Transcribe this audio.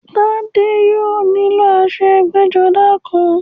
Tádé yóò nílò aṣọ ẹgbẹ́-jọdá kan.